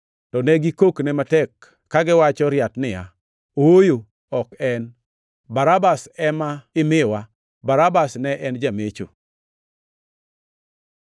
To ne gikokne matek, kagiwacho riat niya, “Ooyo, ok en! Barabas ema imiwa!” Barabas ne en jamecho.